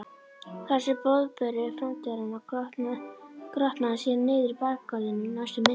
Þessi boðberi framtíðarinnar grotnaði síðan niður í bakgarðinum næstu misserin.